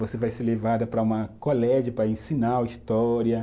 você vai ser levada para uma colégio para ensinar história.